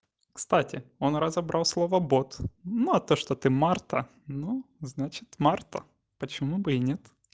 кстати он разобрал слово бот ну а то что ты марта ну значит марта почему бы и нет